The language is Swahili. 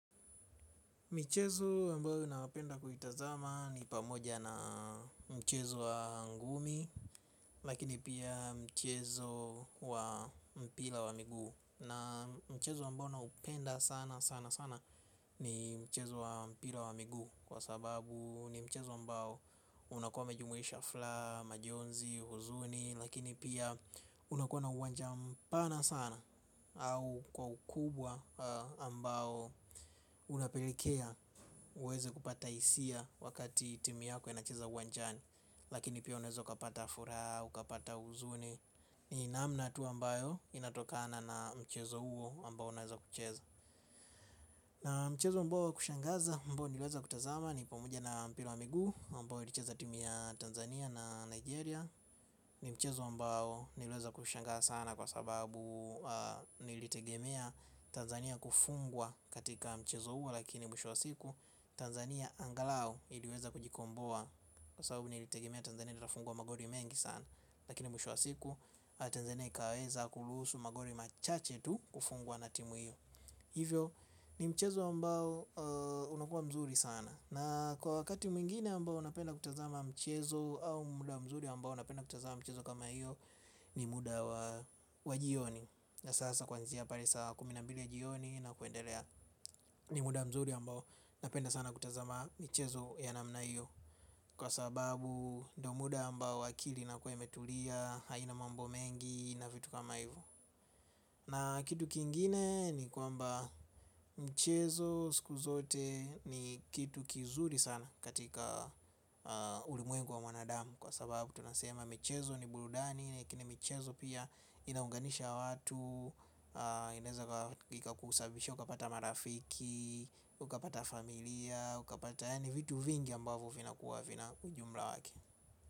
Michezo ambayo napenda kuitazama ni pamoja na mchezo wa ngumi lakini pia mchezo wa mpira wa miguu na mchezo ambao naunapenda sana sana sana ni mchezo wa mpira wa miguu kwa sababu ni mchezo ambao unakome jumuisha furaha, majonzi, huzuni. Lakini pia unakuwa na uwanja mpana sana au kwa ukubwa ambao unapelekea uweze kupata hisia wakati timu yako inacheza uwanjani lakini pia unaweza ukapata furaha ukapata huzuni. Ni namna tu ambayo inatokana na mchezo huo ambao unaweza kucheza na mchezo ambao wa kushangaza ambao niliweza kutazama. Ni pamoja na mpira wa miguu ambao ilicheza timi ya Tanzania na Nigeria. Ni mchezo ambao niliweza kushangaa sana kwa sababu nilitegemea Tanzania kufungwa katika mchezo huo lakini mwisho wa siku Tanzania angalau iliweza kujikomboa kwa sababu nilitegemea Tanzania nilifungwa magoli mengi sana lakini mwisho wa siku Tanzania ikaweza kuruhusu magoli machache tu kufungwa na timu hiyo hivyo ni mchezo ambao unakuwa mzuri sana na kwa wakati mwingine ambao unapenda kutazama mchezo au muda mzuri ambao unapenda kutazama mchezo kama hiyo ni muda wa jioni. Na sasa kwanzia pale saa kumi na mbili jioni na kuendelea ni muda mzuri ambao napenda sana kutazama michezo ya namna hiyo. Kwa sababu ndio muda ambao akili inakuwa imetulia haina mambo mengi na vitu kama hivo. Na kitu kingine ni kwamba mchezo siku zote ni kitu kizuri sana katika ulimwengu wa mwanadamu. Kwa sababu tunasema mchezo ni burudani, lakini michezo pia inaunganisha watu inaeza kusababishia, ukapata marafiki, ukapata familia, ukapata yaani vitu vingi ambavo vina kuwa vina ujumla wake.